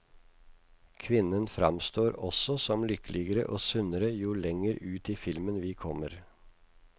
Kvinnen framstår også som lykkeligere og sunnere jo lenger ut i filmen vi kommer.